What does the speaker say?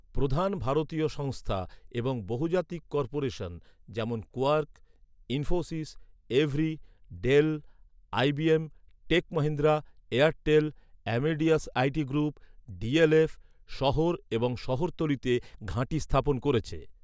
প্রধান ভারতীয় সংস্থা এবং বহুজাতিক কর্পোরেশন, যেমন Quark, Infosys, EVRY, Dell, IBM, Tech Mahindra, Airtel, Amadeus IT group, DLF, শহর এবং এর শহরতলিতে ঘাঁটি স্থাপন করেছে।